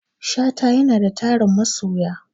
Shata yanada tarin masoya